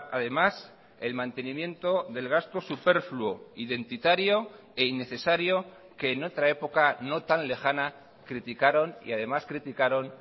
además el mantenimiento del gasto superfluo identitario e innecesario que en otra época no tan lejana criticaron y además criticaron